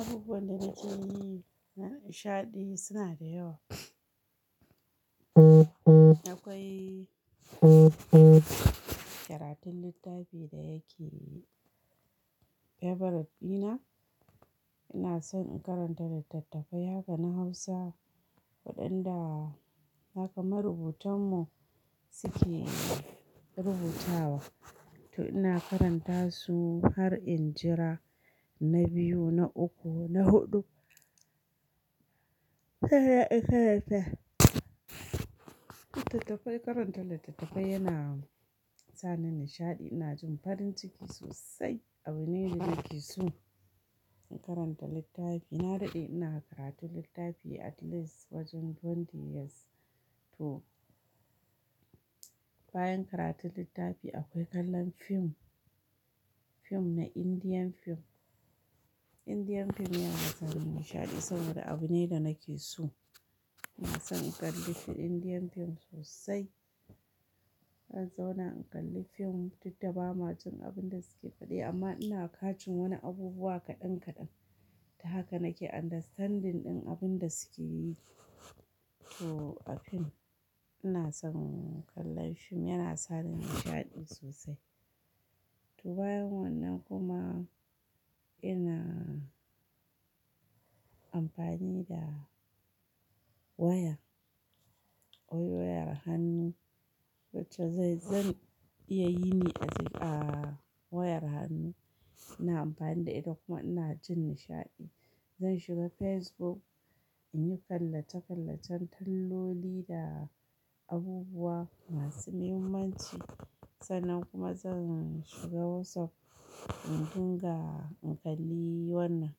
Abubuwan da nake yi na nishaɗi suna da yawa. Akwai karatun littafi da yake favorite ɗina. Ina son in karanta littattafai, haka na Hausa waɗanda haka marubutanmu suke rubutawa. To ina karanta su har in jira na biyu, na uku, na huɗu. Karanta littattafai, karanta littattafai yana sa ni nishaɗi. Ina jin farin ciki sosai abune da nake so. Karanta littafi, na daɗe ina karatun littafi at least wajen 20 years to. Bayan karatun littafi akwai kallon fim, fim na Indian fim. Indian fim yana sa ni nishaɗi saboda abu ne da nake so. Ina son in kalli fim Indian fim sosai. Zanzauna in kalli fim, duk da ba ma jin abun da suke faɗi amma ina ka cin wani abubuwa kaɗan kaɗan. Ta haka nake understanding ɗin abun da suke yi. To a fim ina son kallon fim yana sa ni nishaɗi sosai. To bayan wannan kuma ina amfani da waya, ko wayar hannu wacce dai, zan iya yi ne a wayar hannu. Ina amfani da ita kuma ina jin nishaɗi. Zan shiga Facebook in yi kallace-kallacen talloli da abubuwa masu muhimmanci. Sannan kuma zan shiga WhatsApp in dinga in kalli wannan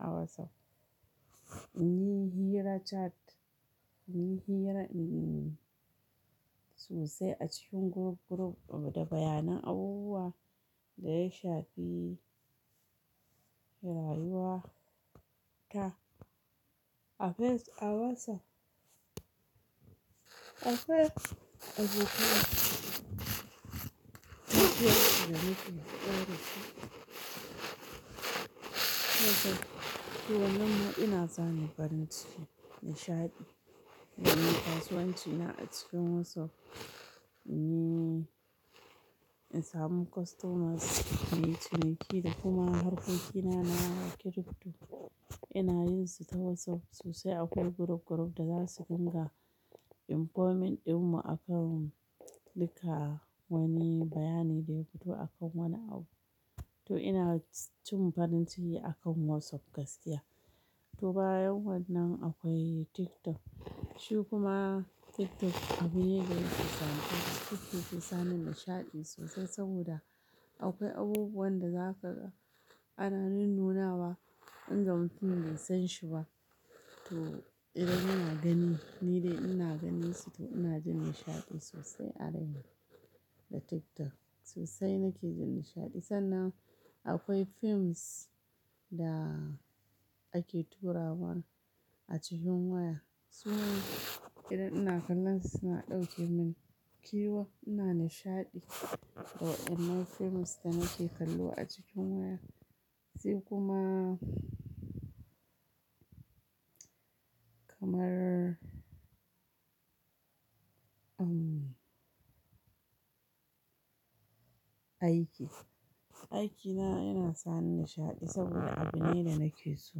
a WhatsApp. In yi hira chat, in yi hira sosai a cikin group group da bayanan abubuwa da ya shafi rayuwa ta a face-- a WhatsApp. A Facebook abokai suna cikin ƙara su. WhatsApp, to wannan ina sani farin ciki nishaɗi. Zan yi kasuwanci ina a cikin WhatsApp in yi, in samu customers, me ciniki da kuma harkoki na na crypto. Ina yin su ta WhatsApp sosai akwai group group da za su dinga informing ɗinmu akan duka wani bayani da ya fito akan wani abu. To ina cin farin ciki akan WhatsApp gaskiya. To bayan wannan akwai TikTok. Shi kuma TikTok abu ne da zai kasance ke sani nishaɗi sosai saboda akwai abubuwan da zaka ga ana nunnawa in ga mutum bai san shi ba. To idan ina gani ni dai ina ganin su to ina jin nishaɗi sosai a raina da TikTok. Sosai nake jin nishaɗi sannan akwai films da ake turawa a cikin waya. Su ne idan ina kallon su suna ɗauke min ƙewa ina nishaɗi. Waƴannan films da nake kallo a cikin waya. Sai kuma kamar, umm, aiki. Aikina yana sa ni nishaɗi saboda abu ne da nake so.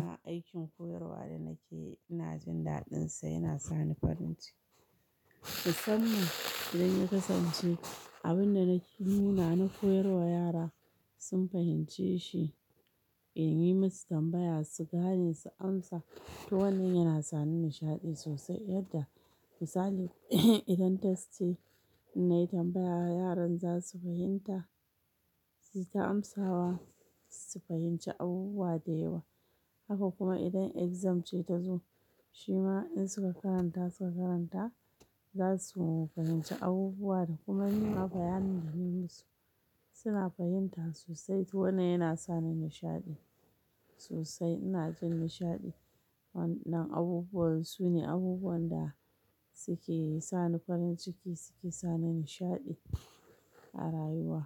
A aikin koyarwa da nake ina jin daɗinsa yana sa ni farin ciki. Musamman idan ya kasance abin da nake, nunaz na koyar wa yara sun fahimce shi in yi musu tambaya su gane su amsa. To wannan yana sa ni nishaɗi sosai yadda misaliz idan test ce nayi tambaya yaran za su fahimta, su ta amsawa su fahimci abubuwa da yawa. Haka kuma idan exam ce ta zo shima in suka karanta suka karanta za su fahimci abubuwa da kuma ni ma bayanin da na yi musu suna fahimta sosai. To wannan yana sa ni nishaɗi sosai. Ina jin nishaɗi wannan abubuwan su ne abubuwan da suke sa ni farin ciki suke sa ni nishaɗi a rayuwa.